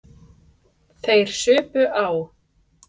Þeir supu á.